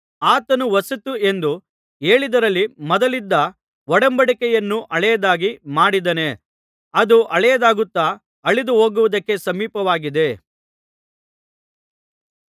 ಆತನು ಹೊಸತು ಎಂದು ಹೇಳಿದ್ದರಲ್ಲಿ ಮೊದಲಿದ್ದ ಒಡಂಬಡಿಕೆಯನ್ನು ಹಳೆಯದಾಗಿ ಮಾಡಿದ್ದಾನೆ ಅದು ಹಳೆಯದಾಗುತ್ತಾ ಅಳಿದುಹೋಗುವುದಕ್ಕೆ ಸಮೀಪವಾಗಿದೆ